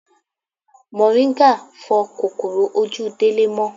Moringa fo kòkòrò ojú Délé mó.